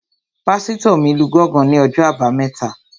Pásítọ̀ mi lu gángan ní ọjọ́ àbámẹ́ta